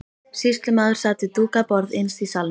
Sýslumaður sat við dúkað borð innst í salnum.